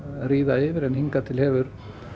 ríða yfir en hingað til hefur